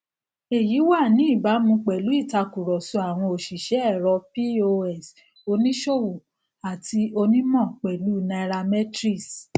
èyí wà ní ìbámu pèlú ìtakùrọsọ àwọn òṣìṣẹ ẹrọ pos oníṣòwò àti onímọ pẹlú u nairametrics